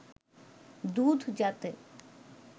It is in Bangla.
দুধ যাতে